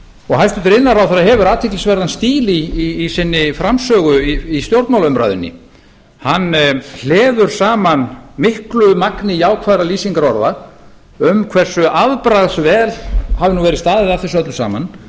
og hæstvirtur iðnaðarráðherra hefur athyglisverðan stíl í sinni framsögu í stjórnmálaumræðunni hann hleður saman miklu magni jákvæðra lýsingarorða um hversu afbragðs vel hafi nú verið staðið að þessu öllu saman